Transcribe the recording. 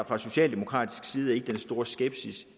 fra socialdemokratisk side ikke den store skepsis